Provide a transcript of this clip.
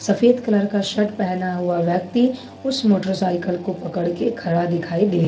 सफेद कलर का शर्ट पहना हुआ व्यक्ति उस मोटरसाइकिल को पड़कर खड़ा दिखाई दे--